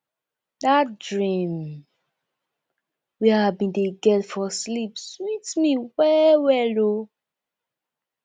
dat dream wey i bin dey get for sleep sweet me wellwell o